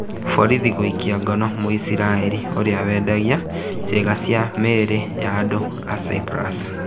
Borithi gũikia ngono Muisrael ũrĩa wendagia cĩĩga cia mĩrĩ ya andũ Cyprus